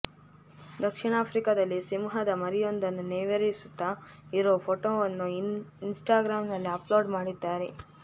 ದಕ್ಷಿಣ ಆಫ್ರಿಕಾದಲ್ಲಿ ಸಿಂಹದ ಮರಿಯೊಂದನ್ನು ನೇವರಿಸ್ತಾ ಇರೋ ಫೋಟೋವನ್ನು ಇನ್ ಸ್ಟಾಗ್ರಾಮ್ನಲ್ಲಿ ಅಪ್ಲೋಡ್ ಮಾಡಿದ್ದಾರೆ